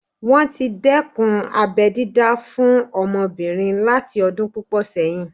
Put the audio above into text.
Wọ́n tí dẹ́kun abẹ́ dídá fún àwọn ọmọbìnrin láti ọdún púpọ̀ sẹ́yìn